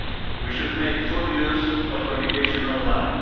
We should make full use of communication online.